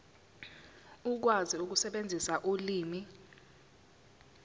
ukwazi ukusebenzisa ulimi